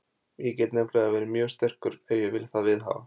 Ég get nefnilega verið mjög sterkur ef ég vil það viðhafa.